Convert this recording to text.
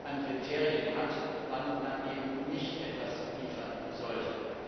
an Kriterien hat, wann man eben nicht etwas liefern sollte.